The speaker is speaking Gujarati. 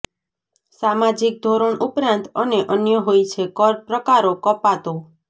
સામાજિક ધોરણ ઉપરાંત અને અન્ય હોય છે કર પ્રકારો કપાતો